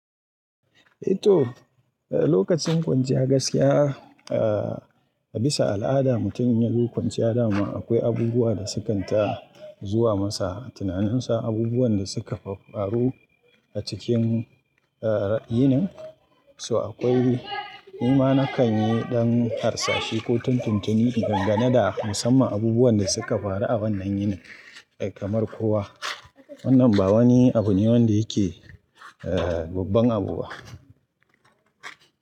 Eh to, eh lokacin kwanciya gaskiya eh a bisa al'ada mutum ya zo kwanciya dama akwai abubuwa da sukan ta zuwa masa. Tunanin sa abubuwan da suka faffaru a cikin eh yini, so akwai ni ma na kan yi ɗan harsashi ko tun tuntuni in dangane da musamman abubuwan da suka faru a wannan yini kamar kowa. Wannan ba wani abu ne wanda yake eh babban abu ba.